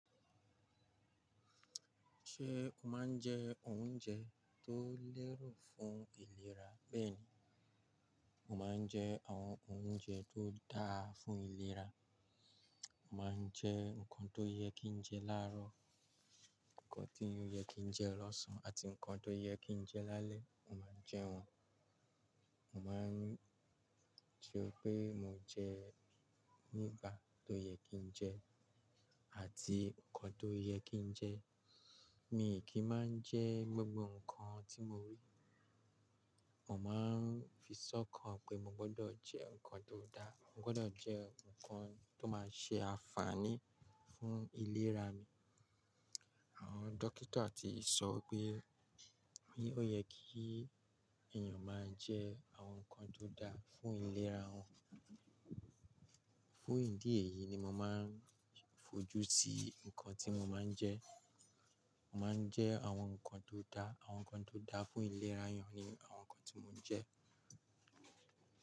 Ṣé o máa ń jẹ oúnjẹ tó lẹ́rù fún ìlera? Bẹ́ẹ̀ni, mo máa ń jẹ àwọn oúnjẹ tó dáa fún ìlera. Mo máa ń jẹ nǹkan tó yẹ kí n jẹ láàárọ̀, nǹkan tí ó yẹ kí n jẹ lọ́sàn-án, àti nǹkan tó yẹ kí n jẹ lálẹ́, mo máa ń jẹ wọ́n. Mo máa ń ṣe pé mo jẹ nígbà tó yẹ kí n jẹ, àti nǹkan tó yẹ kí n jẹ. Mí ì kí máa ń jẹ gbogbo nǹkan tí mo rí. Mo máa ń fi sọ́kàn pé mo gbọ́dọ̀ jẹ nǹkan tó dáa. Mo gbọ́dọ̀ jẹ nǹkan tó máa ṣe àǹfààní fún ìlera mi. Àwọn dókítà ti sọ pé, pé ó yẹ kí èèyàn máa jẹ àwọn nǹkan tó dáa fún ìlera wa. Fún ìdí èyí ni mo máa ń fojú sí nǹkan tí mo máa ń jẹ. Mo máa ń jẹ àwọn nǹkan tó dáa. Àwọn nǹkan tó dáa fún ìlera èèyàn ni àwọn nǹkan tí mo jẹ.